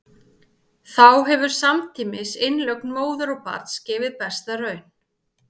Þá hefur samtímis innlögn móður og barns gefið besta raun.